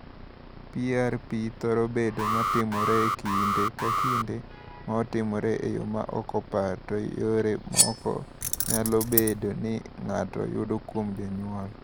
"PRP thoro bedo ma timore e kinde ka kinde (ma timore e yo ma ok opar) to yore moko nyalo bedo ni ng’ato yudo kuom jonyuol."